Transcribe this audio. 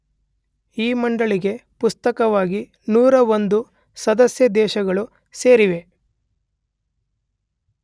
ಈ ಮಂಡಳಿಗೆ ಪ್ರಸಕ್ತವಾಗಿ ೧೦೧ ಸದಸ್ಯ ದೇಶಗಳು ಸೇರಿವೆ